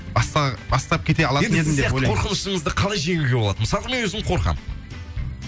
енді сіз сияқты қорқынышыңызды қалай жеңуге болады мысалға мен өзім қорқамын